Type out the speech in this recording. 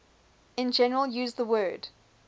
in general use the word